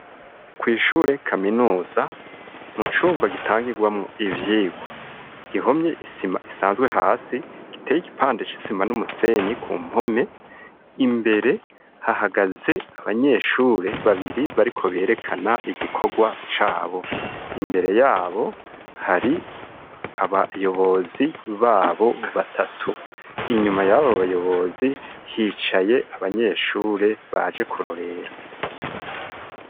Kw'ishure kaminuza, mu cumba gitangirwamwo ivyigwa, gihomye isima isanzwe hasi, giteye igipande c'isima n'umusenyi ku mpome, imbere hahagaze abanyeshure babiri bariko berekana igikorwa cabo. Imbere yabo hari abayobozi babo batatu. Inyuma y'abo bayobozi hicaye abanyeshure baje kurorera.